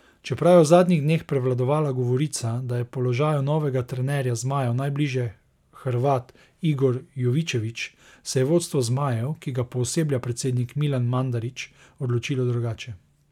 Čeprav je v zadnjih dneh prevladovala govorica, da je položaju novega trenerja zmajev najbližje Hrvat Igor Jovičević, se je vodstvo zmajev, ki ga pooseblja predsednik Milan Mandarić, odločilo drugače.